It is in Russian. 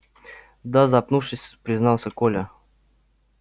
да запнувшись признался коля